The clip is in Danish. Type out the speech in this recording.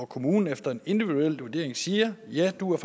kommunen efter en individuel vurdering siger ja du er